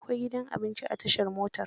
Akwai gidan abinci a tashar motar?